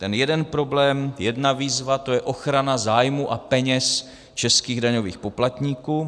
Ten jeden problém, jedna výzva, to je ochrana zájmů a peněz českých daňových poplatníků.